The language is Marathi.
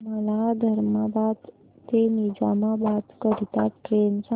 मला धर्माबाद ते निजामाबाद करीता ट्रेन सांगा